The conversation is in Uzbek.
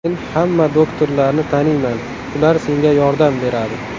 Men hamma doktorlarni taniyman, ular senga yordam beradi.